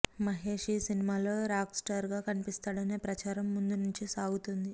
మహేష్ ఈ సినిమాలో రాక్స్టార్ గా కనిపిస్తాడనే ప్రచారం ముందు నుంచీ సాగుతోంది